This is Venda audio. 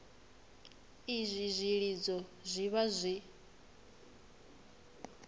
izwi zwilidzo zwi vha zwi